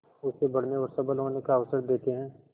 उसे बढ़ने और सबल होने का अवसर देते हैं